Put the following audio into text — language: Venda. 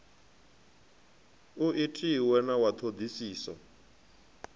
u itiwe na wa ṱhoḓisiso